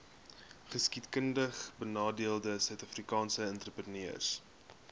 geskiedkundigbenadeelde suidafrikaanse entrepreneurs